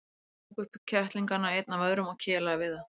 Jói tók upp kettlingana einn af öðrum og kelaði við þá.